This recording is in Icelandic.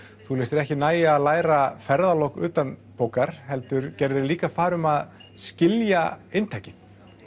þú lést þér ekki nægja að læra ferðalok utanbókar heldur gerðir þig líka færa um að skilja inntakið